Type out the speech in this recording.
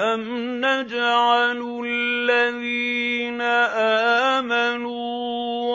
أَمْ نَجْعَلُ الَّذِينَ آمَنُوا